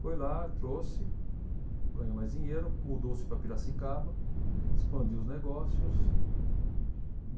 Foi lá, trouxe, ganhou mais dinheiro, mudou-se para Piracicaba, expandiu os negócios.